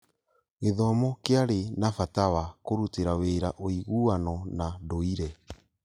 gĩthomo kĩarĩ na bata wa kũrutĩra wĩra ũiguano na ndũire